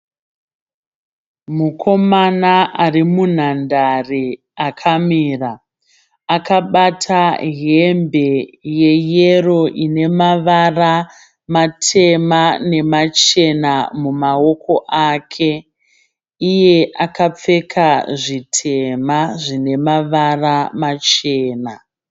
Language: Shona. Mukomana ari munhandare akamira. Akabata hembe yeyero ine mavara matema nemachena mumaoko ake. Iye akapfeka zvitema zvine mavara machena.